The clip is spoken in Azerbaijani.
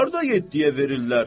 Hardan yetdiyə verirlər?